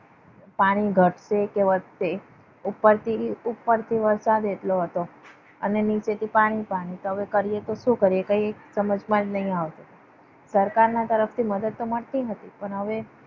પાણી ઘટશે કે વધશે. ઉપરથી ઉપરથી વરસાદ કેટલો હતો અને નીચેથી પાણી પાડે હવે કરીએ તો શું કરીએ કઈ સમજમાં જ નહીં આવતું. સરકારના તરફથી મદદ તો મળતી હતી. પણ હવે